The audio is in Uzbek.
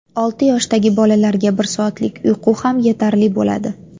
Olti yoshdagi bolalarga bir soatlik uyqu ham yetarli bo‘ladi.